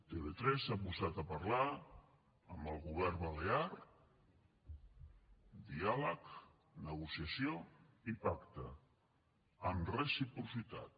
tv3 s’ha posat a parlar amb el govern balear diàleg negociació i pacte amb reciprocitat